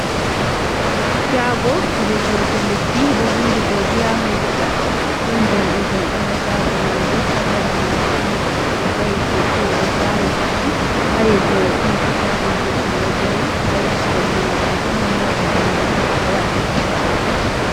Shaago je sorugo lekki ɗo vindi godiya medikal ɗon jamɗe jamɗe ha shaago majum ha sera majum ɗon goɗɗo do va'i keke oɗo vawi buhu ha yeso mai ɗon katako juɗɗum ɗo dari ha kombi majum ɗon mota danejum ɗo waɗi paakin.